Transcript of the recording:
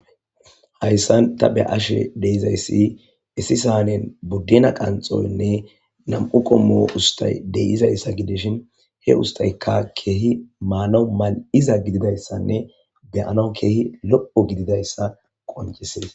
Hayssan ta be ashe deyizayssi issi sahanen buddena qanxoynne nam'u kommo ustay deyizayssa gideshin he ustayka keehi maano mal'iza gididayssanne beyano keehi lo'o gididayssa qoncisees